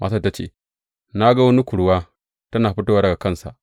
Matar ta ce, Na ga wani kurwa tana fitowa daga ƙasa.